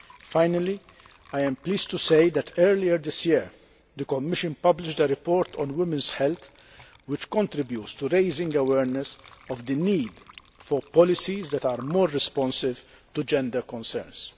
Finally, I am pleased to say that earlier this year, the Commission published a report on women's health, which contributes to raising awareness of the need for policies that are more responsive to gender concerns.